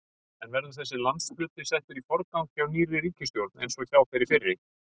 En verður þessi landshluti settur í forgang hjá nýrri ríkisstjórn eins og hjá þeirri fyrri?